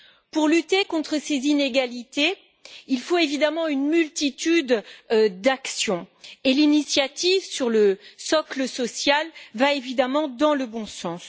Pour lutter contre ces inégalités, il faut une multitude d'actions et l'initiative sur le socle social va évidemment dans le bon sens.